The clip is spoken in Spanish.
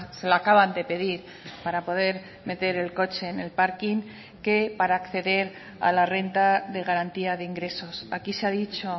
se la acaban de pedir para poder meter el coche en el parking que para acceder a la renta de garantía de ingresos aquí se ha dicho